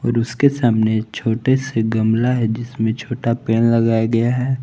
उसके सामने छोटे से गमला है जिसमें छोटा पेड़ लगाया गया है।